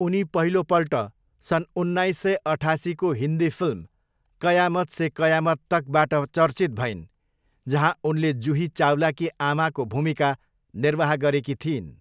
उनी पहिलोपल्ट सन् उन्नाइस सय अठासीको हिन्दी फिल्म कयामत से कयामत तकबाट चर्चित भइन् जहाँ उनले जुही चावलाकी आमाको भूमिका निर्वाह गरेकी थिइन्।